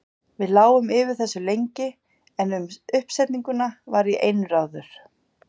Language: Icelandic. Við lágum yfir þessu lengi, en um uppsetninguna var ég einráður.